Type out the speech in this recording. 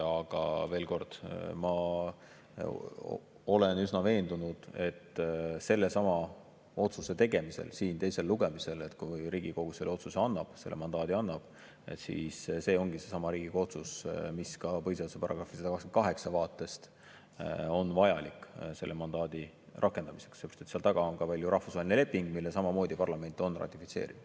Aga veel kord: ma olen üsna veendunud, et sellesama otsuse tegemisel siin teisel lugemisel, kui Riigikogu selle otsuse teeb, selle mandaadi annab, see ongi seesama Riigikogu otsus, mis ka põhiseaduse § 128 vaatest on vajalik selle mandaadi rakendamiseks, seepärast et seal taga on ju ka rahvusvaheline leping, mille samamoodi parlament on ratifitseerinud.